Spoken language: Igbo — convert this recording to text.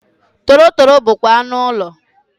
Torotoro bụkwa anụ ụlọ.